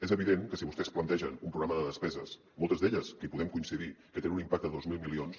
és evident que si vostès plantegen un programa de despeses moltes d’elles que hi podem coincidir que tenen un impacte de dos mil milions